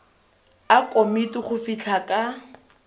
a komiti go fitlha ka